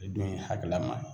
Ale denw ye hakɛlama ye